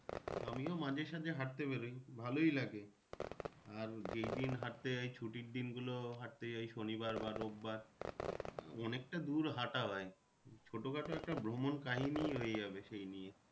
আমিও মাঝে সাজে হাঁটতে বেরোই ভালোই লাগে আর যেই দিন হাঁটতে যাই ছুটির দিন গুলো হাঁটতে যাই শনিবার বা রোববার অনেকটা দূর হাঁটা হয় ছোটো খাটো একটা ভ্রমণ কাহিনী হয়ে যাবে সেই নিয়ে।